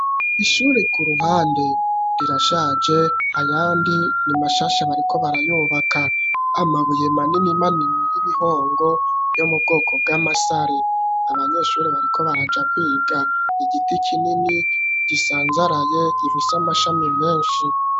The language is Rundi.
Ishure ku ruhande rirashaje ayandi ni mashasha bariko barayubaka amabuye manini manini y'ibihongo yo mubwoko bw'amasare abanyeshure bariko baraja kwiga igiti kinini gisanzaraye gifise amashami menshi.